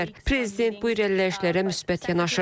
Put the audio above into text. Prezident bu irəliləyişlərə müsbət yanaşır.